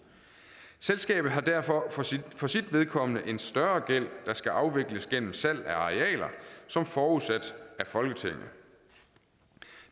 selskabet har derfor for sit vedkommende en større gæld der skal afvikles gennem salg af arealer som forudsat af folketinget